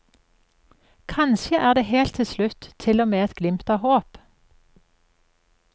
Kanskje er det helt til slutt til og med et glimt av håp.